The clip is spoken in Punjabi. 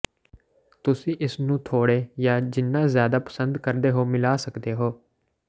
ਤੁਸੀਂ ਇਸ ਨੂੰ ਥੋੜ੍ਹੇ ਜਾਂ ਜਿੰਨਾ ਜ਼ਿਆਦਾ ਪਸੰਦ ਕਰਦੇ ਹੋ ਮਿਲਾ ਸਕਦੇ ਹੋ